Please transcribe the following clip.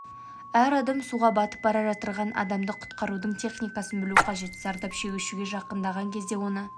әр адам суға батып бара жатырған адамды құтқарудың техникасын білу қажет зардап шегушіге жақындаған кезде оны